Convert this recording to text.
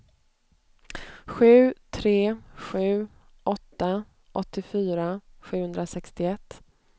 sju tre sju åtta åttiofyra sjuhundrasextioett